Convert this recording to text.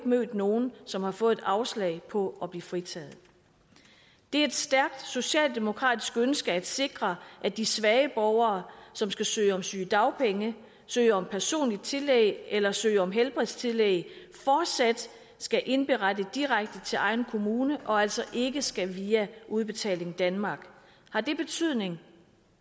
mødt nogen som har fået et afslag på at blive fritaget det er et stærkt socialdemokratisk ønske at sikre at de svage borgere som skal søge om sygedagpenge søge om personlige tillæg eller søge om helbredstillæg fortsat skal indberette direkte til egen kommune og altså ikke skal via udbetaling danmark har det betydning